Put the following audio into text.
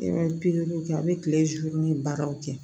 E bɛ pikiriw kɛ a bɛ kile ni baaraw kɛ